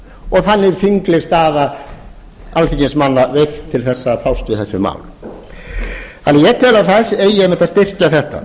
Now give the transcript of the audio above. og þannig þingleg staða alþingismanna veikt til þess að fást við þessi mál ég tel að það eigi einmitt að styrkja þetta